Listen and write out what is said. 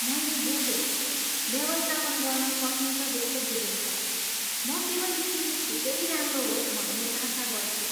मैले बुझेँ, व्यवस्थापन गर्न सकिन्छ जस्तो बुझिन्छ, म केवल स्थिति छिटै राम्रो होस् भन्ने आशा गर्छु।